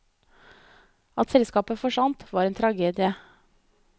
At selskapet forsvant, var en tragedie.